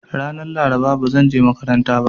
Ranan Laraba ba zanje makaranta ba.